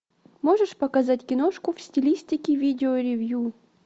можешь показать киношку в стилистике видеоревью